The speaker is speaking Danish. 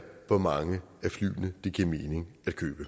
hvor mange af flyene giver det mening at købe